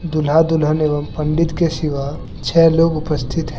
दूल्हा-दुल्हन एवं पंडित के सिवा छे लोग उपस्थित --